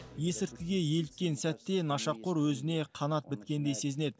есірткіге еліккен сәтте нашақор өзіне қанат біткендей сезінеді